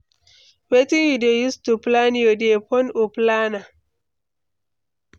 Wetin you dey use to plan your day, phone or planner?